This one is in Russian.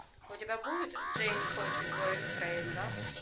у тебя будет джейн хочет бойфренда